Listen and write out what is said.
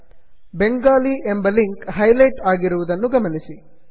ಬೆಂಗಾಲಿ ಬಂಗಾಲಿ ಎಂಬ link highlight ಆಗಿರುವುದನ್ನು ಗಮನಿಸಿ